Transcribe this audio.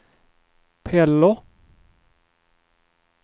Pello